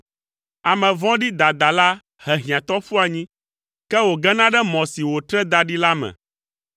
Ame vɔ̃ɖi dadala he hiãtɔ ƒu anyi, ke wògena ɖe mɔ si wòtre da ɖi la me.